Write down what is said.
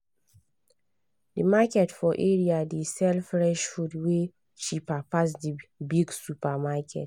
the market for area dey sell fresh food way cheaper pass the big supermarket